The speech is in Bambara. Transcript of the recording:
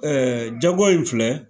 jago in filɛ